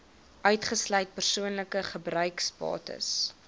uitgesluit persoonlike gebruiksbates